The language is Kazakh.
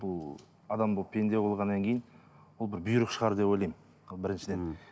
бұл адам болып пенде болғаннан кейін ол бір бұйрық шығар деп ойлаймын ол біріншіден